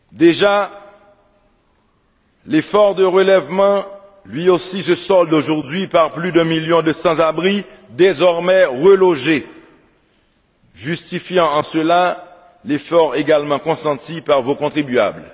Déjà, l'effort de relèvement lui aussi se solde aujourd'hui par plus d'un million de sans abri désormais relogés, justifiant en cela l'effort également consenti par vos contribuables.